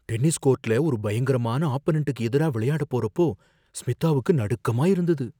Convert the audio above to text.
Tennis கோர்ட்ல ஒரு பயங்கரமான ஆப்பனன்டுக்கு எதிரா விளையாட போறப்போ ஸ்மிதாவுக்கு நடுக்கமா இருந்தது.